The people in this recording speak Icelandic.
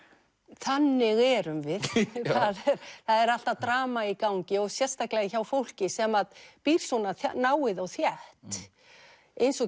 þannig erum við það er alltaf drama í gangi og sérstaklega hjá fólki sem að býr svona náið og þétt eins og